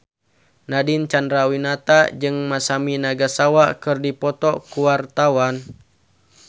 Nadine Chandrawinata jeung Masami Nagasawa keur dipoto ku wartawan